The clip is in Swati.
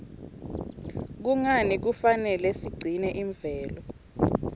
kungani kufanele sigcine imvelo